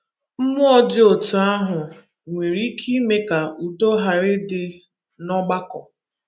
Mmụọ dị otú ahụ nwere ike ime ka udo ghara ịdị n’ọgbakọ.